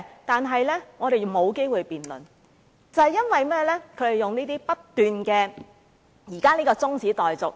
但我們沒有機會辯論，皆因他們不斷提出辯論中止待續議案。